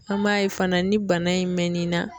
An b'a ye fana ni bana in mɛn nin na